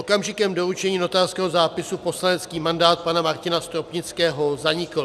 Okamžikem doručení notářského zápisu poslanecký mandát pana Martina Stropnického zanikl.